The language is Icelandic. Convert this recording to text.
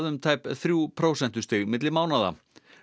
um tæplega þrjú prósentustig milli mánaða